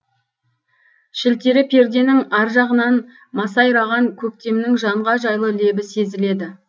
шілтері перденің аржағынан масайраған көктемнің жанға жайлы лебі сезіледі